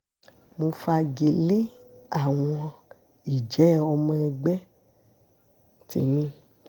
mo fagilé àwọn ìjẹ́ ọmọ ẹgbẹ́ tí mi